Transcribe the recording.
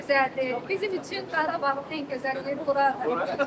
Bizim üçün Qarabağ hər yerimiz, hər gözəl yeri buradır.